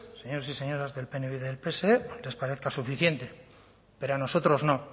señores y señoras del pnv y del pse les parezca suficiente pero a nosotros no